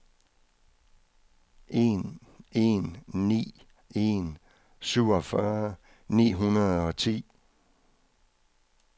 en en ni en syvogfyrre ni hundrede og ti